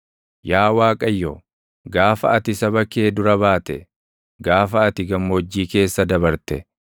Yaa Waaqayyo, gaafa ati saba kee dura baate, gaafa ati gammoojjii keessa dabarte,